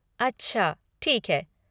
अच्छा, ठीक है।